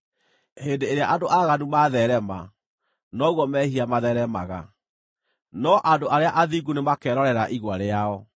Hĩndĩ ĩrĩa andũ aaganu matheerema, noguo mehia matheeremaga, no andũ arĩa athingu nĩmakerorera igwa rĩao.